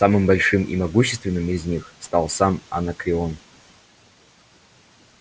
самым большим и могущественным из них стал сам анакреон